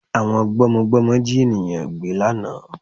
Àwọn gbọ́mọgbọ́mọ Jí ènìyàngbé lánàá